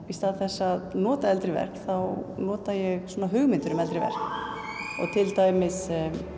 í stað þess að nota eldri verk þá nota ég svona hugmyndir um eldri verk til dæmis